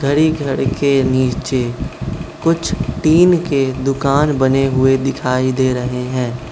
घड़ी घर के नीचे कुछ टीन के दुकान बने हुए दिखाई दे रहे हैं।